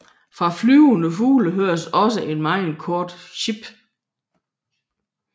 Fra flyvende fugle høres også et meget kort sip